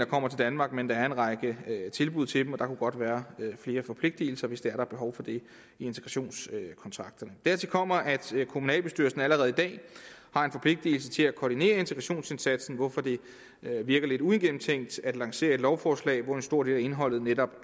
kommer til danmark men der er en række tilbud til dem og der kunne godt være flere forpligtelser hvis det er er behov for det i integrationskontrakterne dertil kommer at kommunalbestyrelserne allerede i dag har en forpligtelse til at koordinere integrationsindsatsen hvorfor det virker lidt uigennemtænkt at lancere et lovforslag hvor en stor del af indholdet netop